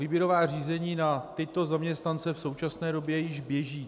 Výběrová řízení na tyto zaměstnance v současné době již běží.